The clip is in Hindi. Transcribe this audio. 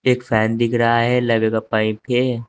एक फैन दिख रहा है लवे का पाइप है।